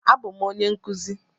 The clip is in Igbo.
A bụ m onye nkụzi